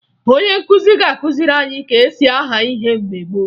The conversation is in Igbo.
Onye nkụzi ga-akụziri anyị ka e si aha ihe mgbe gboo